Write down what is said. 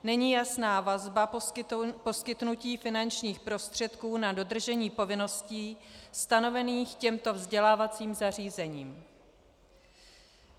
Není jasná vazba poskytnutí finančních prostředků na dodržení povinností stanovených těmto vzdělávacím zařízením.